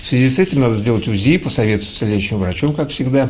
в связи с этим надо сделать узи посоветоваться с лечащим врачом как всегда